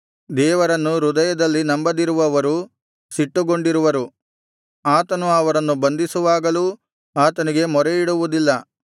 ದೇವರನ್ನು ಹೃದಯದಲ್ಲಿ ನಂಬದಿರುವವರು ಸಿಟ್ಟುಗೊಂಡಿರುವರು ಆತನು ಅವರನ್ನು ಬಂಧಿಸುವಾಗಲೂ ಆತನಿಗೆ ಮೊರೆಯಿಡುವುದಿಲ್ಲ